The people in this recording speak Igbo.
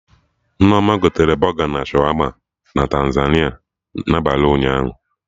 Nneoma gotere Bọga na Shawama na Tantaliza na abalị ụnyaahụ